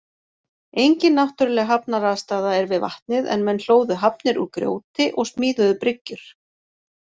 Engin náttúrleg hafnaraðstaða er við vatnið en menn hlóðu hafnir úr grjóti og smíðuðu bryggjur.